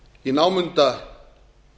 í námunda